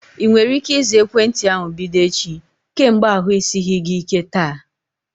Ị nwere ike ịza ekwentị ahu bido echi? Kemgbe ahu esighị gị ike taa